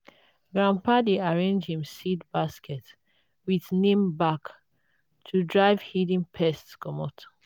grandpa dey arrange him seed basket with neem bark to drive hidden pests comot.